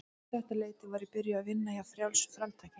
Um þetta leyti var ég byrjuð að vinna hjá Frjálsu framtaki.